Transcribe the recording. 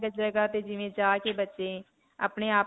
ਜਗ੍ਹਾ ਤੇ ਜਿਵੇਂ ਜਾ ਕੇ ਬੱਚੇ ਆਪਣੇ-ਆਪ.